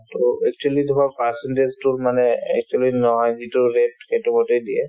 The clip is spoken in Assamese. to actually ধৰক percentage তো মানে actually সেইটো মতে দিয়ে